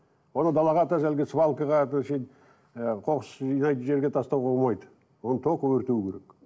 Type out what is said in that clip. оны далаға әлгі свалкаға ы қоқыс жинайтын жерге тастауға болмайды оны только өртеу керек